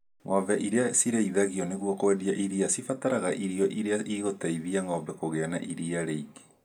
Ng'ombe iria cirĩithagio nĩguo kwendia iria cibataraga irio iria igũteithia ng'ombe kugia na iria rĩingĩ